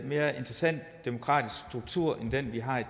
mere interessant demokratisk struktur end den vi har i